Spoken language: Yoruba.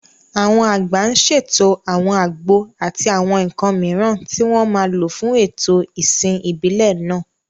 Àwọn àgbà ń ṣètò àwọn àgbo àti àwọn nǹkan mìíràn tí wọ́n máa lò fún ètò ìsìn ìbílẹ̀ náà.